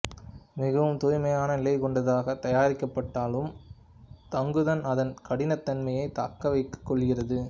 மிகவும் தூய்மையான நிலை கொண்டதாக தயாரிக்கப்பட்டாலும் தங்குதன் அதன் கடினத்தன்மையை தக்கவைத்துக் கொள்கிறது